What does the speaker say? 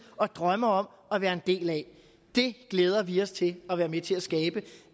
og drømmer om at være en del af det glæder vi os til at være med til at skabe